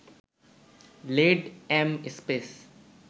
lead, M, space